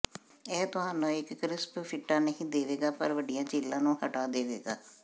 ਇਹ ਤੁਹਾਨੂੰ ਇੱਕ ਕਰਿਸਪ ਫਿੰਟਾ ਨਹੀਂ ਦੇਵੇਗਾ ਪਰ ਵੱਡੀਆਂ ਝੀਲਾਂ ਨੂੰ ਹਟਾ ਦੇਵੇਗਾ